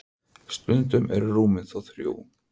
stundum eru rúmin þó þrjú